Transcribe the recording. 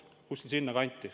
Kuskil sinna kanti.